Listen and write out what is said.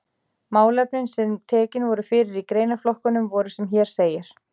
Málefnin sem tekin voru fyrir í greinaflokkunum voru sem hér segir